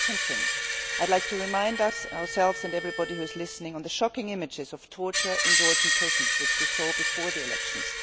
A second thing I would like to remind ourselves and everyone else who is listening about the shocking images of torture in Georgian prisons which we saw before the elections.